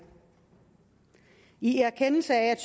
i erkendelse af